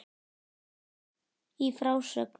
Í frásögn